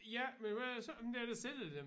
Ja men hvem er det så dem der der sender dem